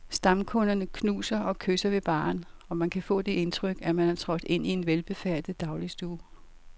Stamkunderne knuser og kysser ved baren, og man kan få det indtryk, at man er trådt ind i en velbefærdet dagligstue.